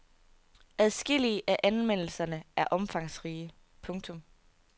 Adskillige af anmeldelserne er omfangsrige. punktum